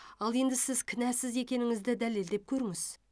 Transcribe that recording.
ал енді сіз кінәсіз екеніңізді дәлелдеп көріңіз